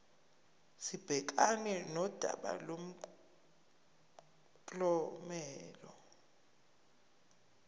sibhekane nodaba lomklomelo